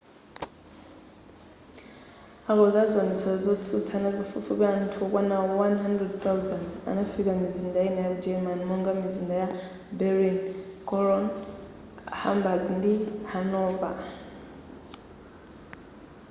akonzi a ziwonetsero zotsutsa amati pafupifupi anthu okwana 100,000 anafika m'mizinda ina yaku germary ngati mizinda ya berlin cologne hamburg ndi hanover